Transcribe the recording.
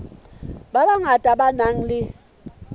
ba bangata ba nang le